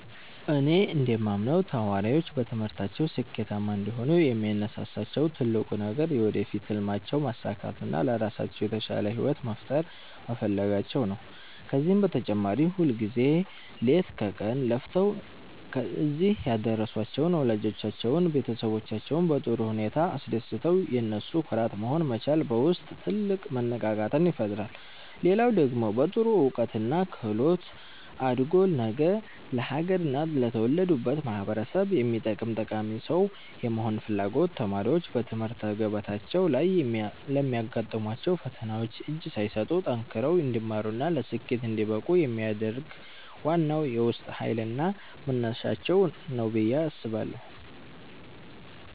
እኔ እንደማምነው ተማሪዎች በትምህርታቸው ስኬታማ እንዲሆኑ የሚያነሳሳቸው ትልቁ ነገር የወደፊት ሕልማቸውን ማሳካትና ለራሳቸው የተሻለ ሕይወት መፍጠር መፈለጋቸው ነው። ከዚህም በተጨማሪ ሁልጊዜ ሌት ከቀን ለፍተው እዚህ ያደረሷቸውን ወላጆቻቸውንና ቤተሰቦቻቸውን በጥሩ ውጤት አስደስቶ የነሱ ኩራት መሆን መቻል በውስጥ ትልቅ መነቃቃትን ይፈጥራል። ሌላው ደግሞ በጥሩ እውቀትና ክህሎት አድጎ ነገ ለአገርና ለተወለዱበት ማኅበረሰብ የሚጠቅም ጠቃሚ ሰው የመሆን ፍላጎት ተማሪዎች በትምህርት ገበታቸው ላይ ለሚያጋጥሟቸው ፈተናዎች እጅ ሳይሰጡ ጠንክረው እንዲማሩና ለስኬት እንዲበቁ የሚያደርግ ዋናው የውስጥ ኃይልና መነሳሻቸው ነው ብዬ አስባለሁ።